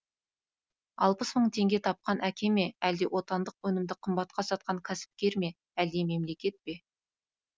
алпыс мың теңге тапқан әке ме әлде отандық өнімді қымбатқа сатқан кәсіпкер ме әлде мемлекет пе